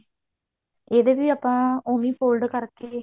ਇਹਦੇ ਵੀ ਆਪਾਂ ਉਹੀ fold ਕਰਕੇ